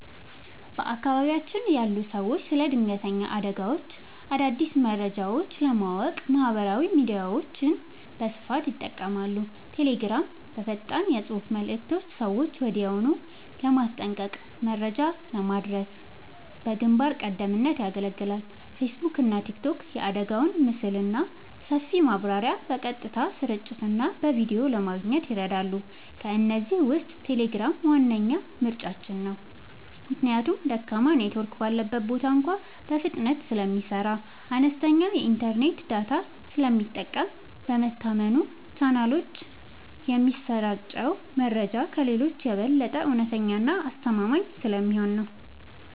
በአካባቢያችን ያሉ ሰዎች ስለ ድንገተኛ አደጋዎችና አዳዲስ መረጃዎች ለማወቅ ማህበራዊ ሚዲያዎችን በስፋት ይጠቀማሉ። ቴሌግራም፦ በፈጣን የፅሁፍ መልዕክቶች ሰዎችን ወዲያውኑ ለማስጠንቀቅና መረጃ ለማድረስ በግንባር ቀደምትነት ያገለግላል። ፌስቡክና ቲክቶክ፦ የአደጋውን ምስልና ሰፊ ማብራሪያ በቀጥታ ስርጭትና በቪዲዮ ለማየት ይረዳሉ። ከእነዚህ ውስጥ ቴሌግራም ዋነኛ ምርጫችን ነው። ምክንያቱም ደካማ ኔትወርክ ባለበት ቦታ እንኳ በፍጥነት ስለሚሰራ፣ አነስተኛ የኢንተርኔት ዳታ ስለሚጠቀምና በታመኑ ቻናሎች የሚሰራጨው መረጃ ከሌሎቹ የበለጠ እውነተኛና አስተማማኝ ስለሚሆን ነው።